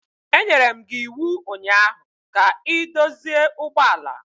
Enyere m gi iwu ụnyaahụ ka ị dozie ụgbọ ala!